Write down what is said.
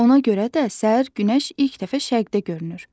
Ona görə də səhər günəş ilk dəfə şərqdə görünür.